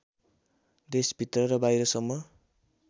देशभित्र र बाहिरसम्म